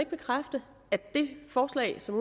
bekræfte at det forslag som